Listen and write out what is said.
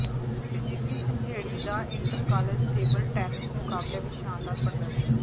CGC Jhanjeri ਦਾ inter college table tennis ਮੁਕਾਬਲਿਆਂ ਵਿੱਚ ਸ਼ਾਨਦਾਰ ਪ੍ਰਦਰਸ਼ਨ